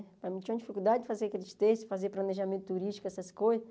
Para mim tinha uma dificuldade de fazer aqueles textos, fazer planejamento turístico, essas coisas.